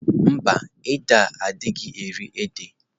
Mba, o édè a anaghị eri ede.